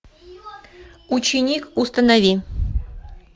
ученик установи